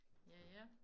Ja ja